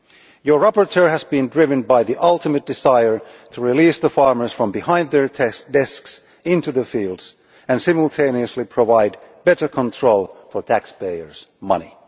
Your rapporteur has been driven by the ultimate desire to release farmers from behind their desks into the fields and simultaneously provide better control for taxpayers' money.